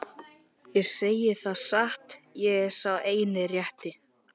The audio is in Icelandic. Ég segi það satt, ég er sá eini rétti.